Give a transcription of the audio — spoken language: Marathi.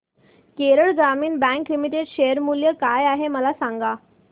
केरळ ग्रामीण बँक लिमिटेड शेअर मूल्य काय आहे मला सांगा